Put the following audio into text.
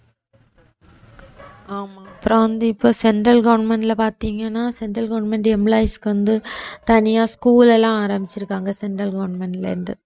ஆமா அப்புறம் வந்து இப்ப central government ல பாத்தீங்கன்னா central government employees க்கு வந்து தனியா school எல்லாம் ஆரம்பிச்சிருக்காங்க central government ல இருந்து